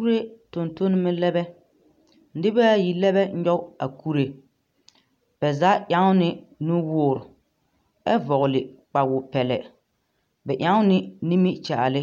Kuree tontonmɛ lɛbɛ nibɛɛayi lɛbɛ nyoge a kuree bɛ zaa ɛŋni nuwoore ɛ vɔgle kpawopɛllɛ bɛ ɛŋni nimikyããli